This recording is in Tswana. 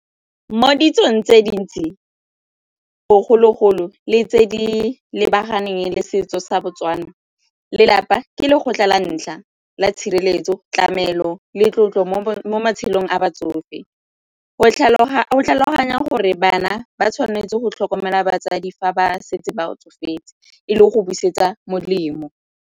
Mo ditsong tse dintsi bogologolo le tse di lebaganeng le setso sa Botswana, lelapa ke le go la tshireletso tlamelo le tlotlo mo matshelong a batsofe go tlhaloganya gore bana ba tshwanetse go tlhokomela batsadi fa ba setse ba tsofetse e le go busetsa molemo.